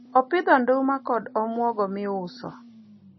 opidho nduma kod omuogo miuso